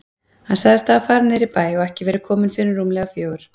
Hann sagðist hafa farið niður í bæ og ekki verið kominn fyrr en rúmlega fjögur.